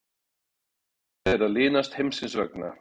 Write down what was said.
Sekt þeirra linast heimsins vegna.